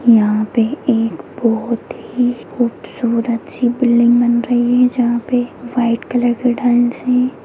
यहाँ पे एक बहुत ही खूबसूरत सी बिल्डिंग बन रही है जहाँ पे वाइट कलर के टाइल्स हैं।